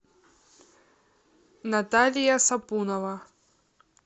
наталья сапунова